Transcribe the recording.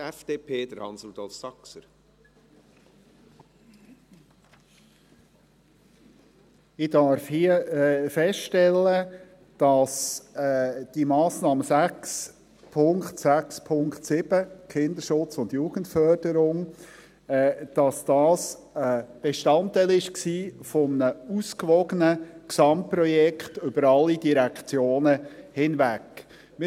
Ich darf hier feststellen, dass die Massnahme 6.7.7, Kinderschutz und Jugendförderung, ein Bestandteil eines ausgewogenen Gesamtprojekts über alle Direktionen hinweg war.